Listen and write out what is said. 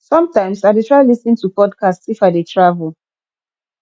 sometimes i dey try lis ten to podcasts if i dey travel